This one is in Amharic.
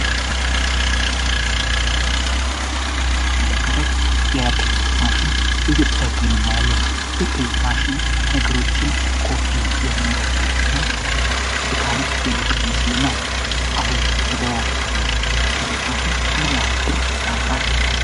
በምስሉ ላይ የምንመለከተው የፕሪንት ማሽን እየተጠገነ እንመለከታለን። የፕሪንት ማሽን ነገሮችን ኮፒ የሚያደርግልን እና ድካምን የሚቀንስልን ነው። አሁን በገበያ ላይ ያለው ማሽን ምን ያክል ብር ያወጣል?